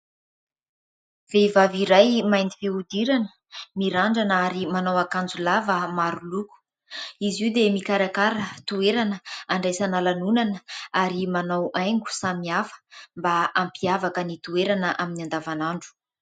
Vehivavy iray mainty fihodirana, mirandrana ary manao akanjo lava maro loko, izy io dia mikarakara toerana handraisana lanonana ary manao haingo samy hafa mba hampiavaka ny toerana amin'ny andavanandro.